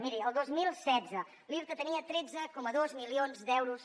miri el dos mil setze l’irta tenia tretze coma dos milions d’euros